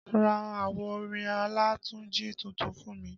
Ra àwo orin Olatunji tuntun fún mi